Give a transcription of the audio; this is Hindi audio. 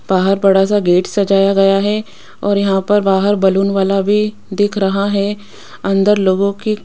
बाहर बड़ा सा गेट सजाया गया है और यहां पर बाहर बलून वाला भी दिख रहा है अंदर लोगों की --